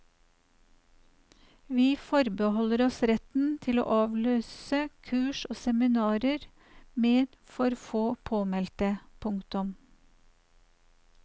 Vi forbeholder oss retten til å avlyse kurs og seminarer med for få påmeldte. punktum